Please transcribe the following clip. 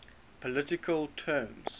political terms